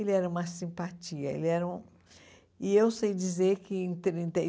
Ele era uma simpatia, ele era um... E eu sei dizer que em trinta e